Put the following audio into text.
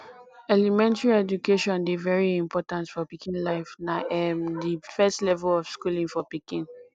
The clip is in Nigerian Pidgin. elementry education dey very important for pikin life na um di first level of schooling for pikin